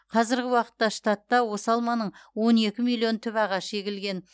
қазіргі уақытта штатта осы алманың он екі миллион түп ағашы егілген